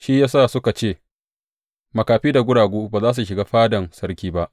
Shi ya sa suka ce, Makafi da guragu’ ba za su shiga fadan sarki ba.